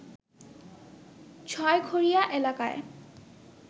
ছয়ঘোরিয়া এলাকায়